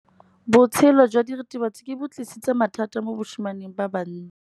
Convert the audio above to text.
Botshelo jwa diritibatsi ke bo tlisitse mathata mo basimaneng ba bantsi.